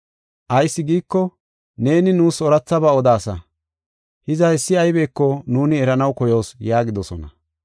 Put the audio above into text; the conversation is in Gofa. Ayis giiko, neeni nuus oorathaba odaasa; hiza hessi aybeko nuuni eranaw koyoos” yaagidosona.